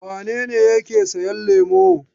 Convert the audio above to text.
Wane ne yake sayan lemo?